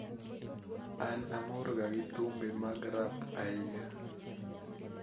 An amorga gi thumbe mag rap ahinya